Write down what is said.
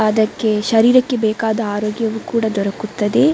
ಅದಕ್ಕೆ ಶರೀರಕ್ಕೆ ಬೇಕಾದ ಆರೋಗ್ಯವೂ ಕೂಡ ದೊರಕುತ್ತದೆ.